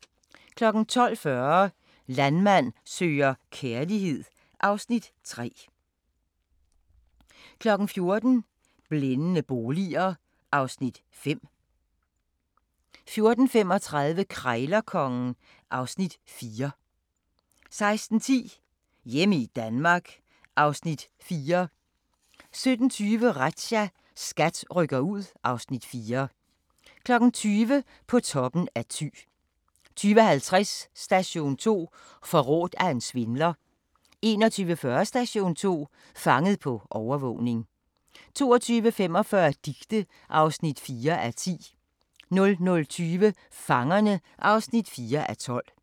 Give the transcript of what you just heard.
12:40: Landmand søger kærlighed (Afs. 3) 14:00: Blændende boliger (Afs. 5) 14:35: Krejlerkongen (Afs. 4) 16:10: Hjemme i Danmark (Afs. 4) 17:20: Razzia – SKAT rykker ud (Afs. 4) 20:00: På toppen i Thy 20:50: Station 2: Forrådt af en svindler 21:40: Station 2: Fanget på overvågning 22:45: Dicte (4:10) 00:20: Fangerne (4:12)